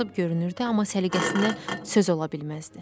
Biraz kasıb görünürdü, amma səliqəsinə söz ola bilməzdi.